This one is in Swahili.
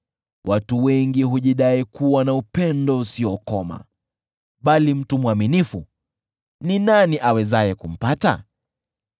Watu wengi hujidai kuwa na upendo usiokoma, bali mtu mwaminifu ni nani awezaye kumpata?